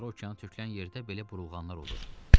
Okeana tökülən yerdə belə burulğanlar olur.